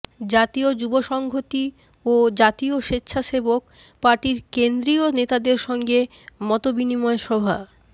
জাতীয় যুবসংহতি ও জাতীয় স্বেচ্ছাসেবক পার্টির কেন্দ্রীয় নেতাদের সঙ্গে মতবিনিময় সভা